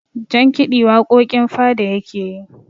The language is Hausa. jankidi waƙoƙin fada yake yi